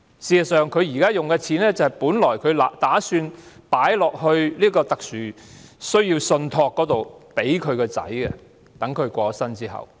事實上，她現時用的藥費，本來打算存到特殊需要信託，在她過世後供兒子使用。